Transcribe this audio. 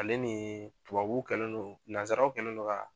Ale ni tubabuw kɛlen don nanzsaraw kɛlen don ka